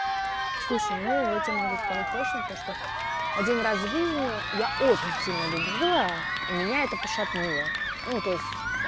слушай ну я тебе могу сказать точно то что один раз в жизни я очень сильно любила и меня это пошатнуло ну то есть